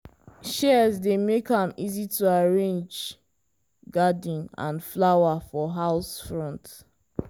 shears dey make am easy to arrange garden and flower for house front.